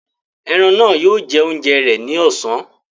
Eran náà yóò jẹ oúnjẹ rẹ ni ọ̀sán.